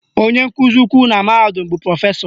Onye nkụzi ukwu na mahadum bụ Prọfesọ